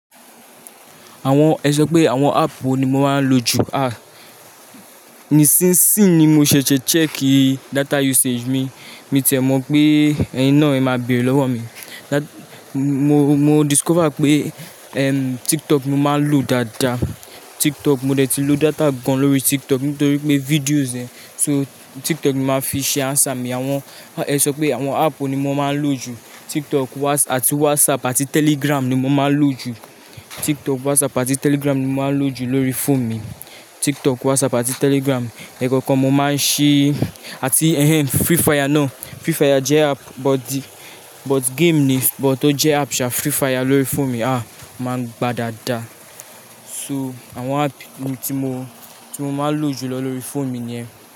Àwọn, ẹ sọ pé àwọn app wo ni mo máa ń lò jù? Ah, ni sinsin ni mo ṣẹ̀ṣẹ̀ check data usage mi. Mi ò tìẹ̀ mọ̀ pé ẹyin náà ẹ máa bèrè lọ́wọ́ mi. Dá, mo, mo discover pé, ehm, TikTok ni mo máa ń lò dáadáa. TikTok mo dẹ ti lò data gan lórí TikTok nítorí pé videos ẹ. So TikTok ni màá fi ṣe answer mi. Àwọn, ẹ sọ pé àwọn app wo ni mo máa ń lò jù? TikTok, Whats-- àti WhatsApp àti Telegram ni mo máa ń lò jù. TikTok, WhatsApp àti Telegram ni mo máa ń lò jù lórí phone mi. TikTok, WhatsApp àti Telegram. Ẹ̀ẹ̀kọ̀kan mo máa ń ṣí. Àti ẹhen, Free Fire ná. Free Fire jẹ́ app but, but game ni, but ó jẹ́ app ṣá. Free Fire lórí phone mi há, máa ń gba dáadáa. So àwọn app ni tí mo, tí mo máa ń lò jùlọ lórí phone mi ni ẹ.